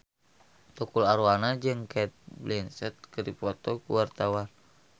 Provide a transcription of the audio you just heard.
Tukul Arwana jeung Cate Blanchett keur dipoto ku wartawan